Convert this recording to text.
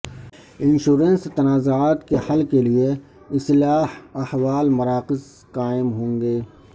insurance تنازعات کے حل کیلئے اصلاح احوال مراکز قائم ہونگے